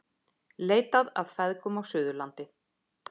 Leitað að feðgum á Suðurlandi